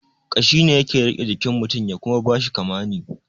Kashi ne yake rike jikin mutun ya kuma bashi kamani